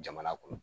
Jamana kɔnɔ